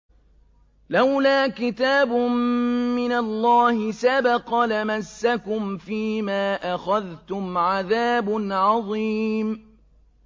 لَّوْلَا كِتَابٌ مِّنَ اللَّهِ سَبَقَ لَمَسَّكُمْ فِيمَا أَخَذْتُمْ عَذَابٌ عَظِيمٌ